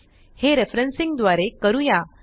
हे रेफरेन्सिंग द्वारे करूया